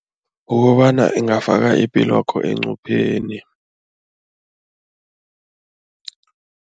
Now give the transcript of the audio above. Kukobana ingafaka ipilwakho encupheni.